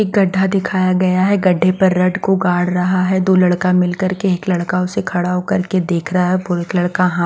एक गड्ढा दिखाया गया है गड्ढे पर रड को गाड़ रहा है दो लड़का मिल कर के एक लड़का उसे खड़ा होकर के देख रहा है वो एक लड़का हा --